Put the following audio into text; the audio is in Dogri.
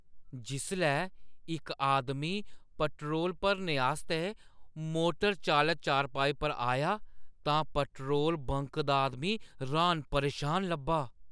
जिसलै इक आदमी पट्रोल भरने आस्तै मोटर चालत चारपाई पर आया तां पट्रोल बंक दा आदमी र्‌हान-परेशान लब्भा।